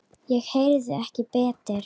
Ég heyrði ekki betur.